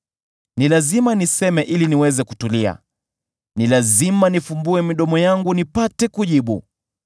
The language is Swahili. Ni lazima niseme ili niweze kutulia; ni lazima nifumbue midomo yangu nipate kujibu.